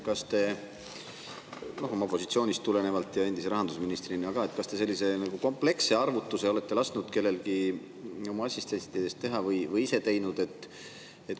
Kas te oma positsioonist tulenevalt ja ka endise rahandusministrina olete lasknud kellelgi oma assistentidest teha või ise teinud sellise nagu kompleksse arvutuse?